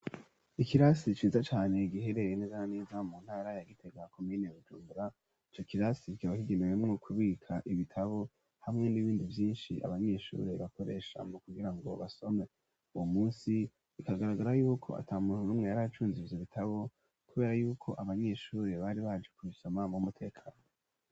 Ikirasi ciza cane igiherere neza neza mu ntara ya gitegaa komienebjunbura icyo kirasi vyz hagemewe mwo kubika ibitabo hamwe n'ibindi vyinshi abanyeshuri bakoresha mo kugira ngo basome uwo munsi ikagaragara yuko ata muntu n'umwe yari acunziiza ibitabo kubera yuko abanyeshure bari baje kubisoma mu mutekano.